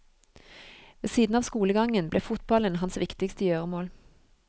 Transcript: Ved siden av skolegangen ble fotballen hans viktigste gjøremål.